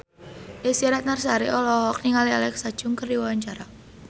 Desy Ratnasari olohok ningali Alexa Chung keur diwawancara